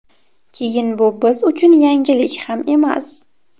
Keyin bu biz uchun yangilik ham emas”.